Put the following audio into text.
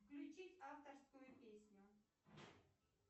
включить авторскую песню